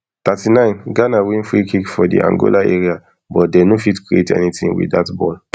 thirty-nineghana win freekick for di angola area but dey no fit create anytin wit dat ball